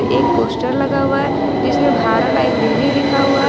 एक पोस्टर लगा हुआ है जिसमें भारत लाइब्रेरी लिखा हुआ है।